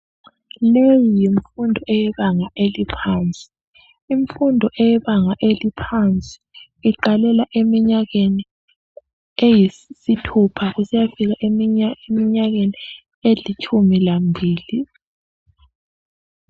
Leyi yimfundo yebanga eliphansi. Imfundo eyebanga eliohansi iqalela eminyakeni eyisithupha. Kusiyafika kuminyakeni elitshumi lambili.